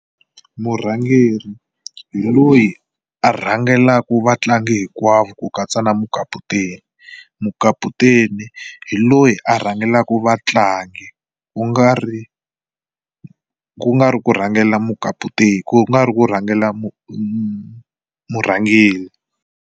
Murhangeri hi loyi a rhangelaku vatlangi hinkwavo ku katsa na mukaputeni. Mukaputeni hi loyi a rhangelaku vatlangi ku nga ri ku nga ri ku rhangela mukaputeni ku nga ri ku rhangela murhangeri.